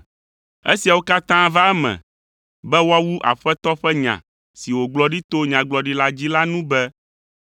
Esiawo katã va eme be, woawu Aƒetɔ ƒe nya si wògblɔ ɖi to Nyagblɔɖila dzi la nu be,